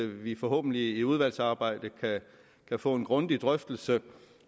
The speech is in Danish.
vi forhåbentlig i udvalgsarbejdet kan få en grundig drøftelse